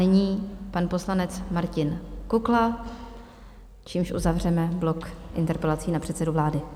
Nyní pan poslanec Martin Kukla, čímž uzavřeme blok interpelací na předsedu vlády.